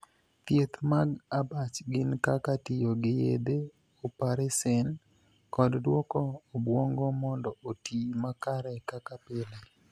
Thieth mag abach gin kaka tiyo gi yedhe, oparesen, kod duoko obuongo mondo otii makare kaka pile.